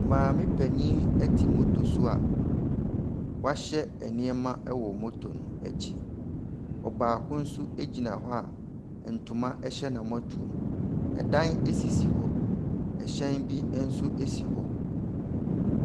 Maame panyin ɛte motor soa, woahyɛ nnoɔma wɔ motor no akyi. Ɔbaako nso egyina hɔ a ntoma ɛhyɛ n'amɔtuomu. Ɛdan esisi hɔ. Ɛhyɛn bi ɛnso esi hɔ.